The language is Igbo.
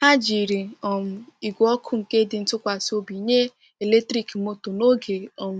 Ha jiri um igwe ọkụ nke dị ntụkwasị obi nye eletrik moto n'oge um